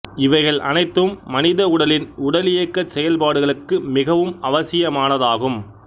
இவைகள் அனைத்தும் மனித உடலின் உடலியக்கச் செயல் பாடுகளுக்கு மிகவும் அவசியமானதாகும்